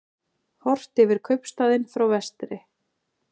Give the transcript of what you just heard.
Horft yfir kaupstaðinn frá vestri.